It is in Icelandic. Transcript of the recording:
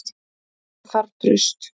Það þarf traust.